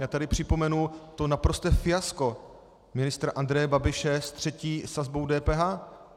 Já tady připomenu to naprosté fiasko ministra Andreje Babiše se třetí sazbou DPH.